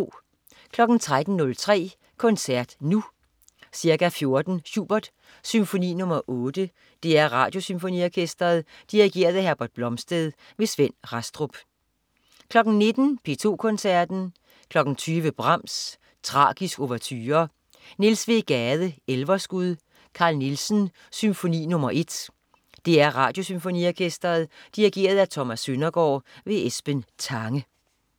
13.03 Koncert Nu. Ca. 14.00 Schubert: Symfoni nr. 8. DR Radiosymfoniorkestret. Dirigent: Herbert Blomstedt. Svend Rastrup 19.00 P2 Koncerten. 20.00 Brahms: Tragisk ouverture. Niels W. Gade: Elverskud. Carl Nielsen: Symfoni nr. 1. DR Radiosymfoniorkestret. Dirigent: Thomas Søndergaard. Esben Tange